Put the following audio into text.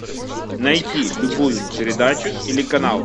найти любую передачу или канал